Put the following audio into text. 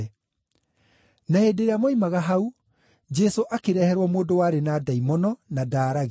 Na hĩndĩ ĩrĩa moimaga hau, Jesũ akĩreherwo mũndũ warĩ na ndaimono, na ndaaragia.